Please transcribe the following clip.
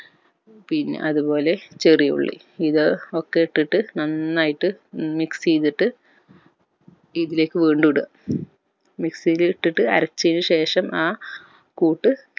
പിന്നെ അതുപോലെ ചെറിയുള്ളി ഇത് ഒക്കെ ഇട്ടിട്ട് നന്നായിട്ട് mix ചെയ്തിട്ട് ഇതിലേക്ക് വീണ്ടും ഇടുവ mixy ൽ ഇട്ടിട്ട് അരച്ചെന് ശേഷം ആ കൂട്ട്